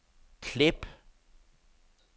klip